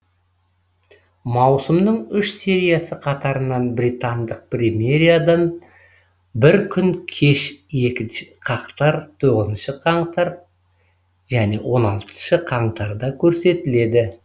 маусымның үш сериясы қатарынан британдық премьерадан бір күн кеш екінші қаңтар тоғызыншы қаңтар және он алтыншы қаңтарда көрсетілді